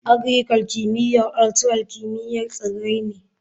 Agricul; kimiyyar ultural kimiyyar tsirrai ne.